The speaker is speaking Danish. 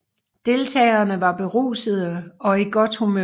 Deltagerne var berusede og i godt humør